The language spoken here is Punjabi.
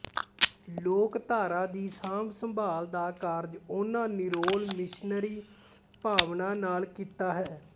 ਲੋਕਧਾਰਾ ਦੀ ਸਾਂਭ ਸੰਭਾਲ ਦਾ ਕਾਰਜ ਉਹਨਾਂ ਨਿਰੋਲ ਮਿਸ਼ਨਰੀ ਭਾਵਨਾ ਨਾਲ ਕੀਤਾ ਹੈ